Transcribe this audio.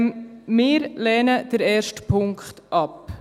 Wir lehnen den ersten Punkt ab.